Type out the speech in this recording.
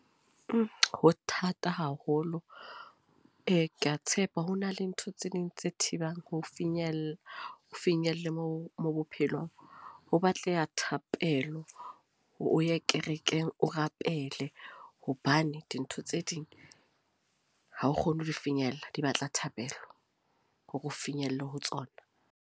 Ho thata haholo. Ee, ke a tshepa ho na le ntho tse ding tse thibang ho finyella, finyelle mo mo bophelong. Ho batleha thapelo, o ye kerekeng o rapele. Hobane dintho tse ding ha o kgone ho di finyella. Di batla thabelo hore o finyelle ho tsona.